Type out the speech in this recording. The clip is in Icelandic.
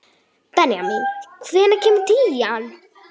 Benjamín, hvenær kemur tían?